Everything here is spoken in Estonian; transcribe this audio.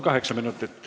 Kaheksa minutit.